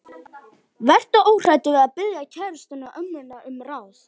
Vertu óhræddur við að biðja kærustuna og ömmurnar um ráð.